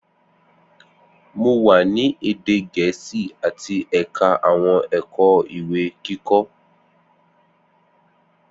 Mo wa ni ede Gẹẹsi ati ẹka awọn ẹkọ iwe-kikọ.